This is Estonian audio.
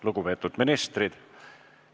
Lugupeetud ministrid!